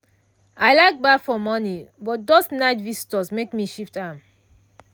i like baff for morning but those night visitors make me shift am.